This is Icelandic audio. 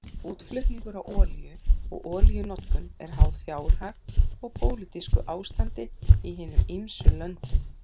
Útflutningur á olíu og olíunotkun eru háð fjárhag og pólitísku ástandi í hinum ýmsu löndum.